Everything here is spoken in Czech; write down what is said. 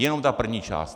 Jenom ta první část.